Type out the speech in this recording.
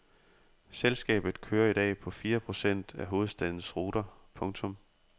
Selskabet kører i dag på fire procent af hovedstadens ruter. punktum